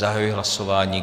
Zahajuji hlasování.